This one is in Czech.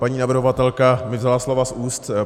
Paní navrhovatelka mi vzala slova z úst.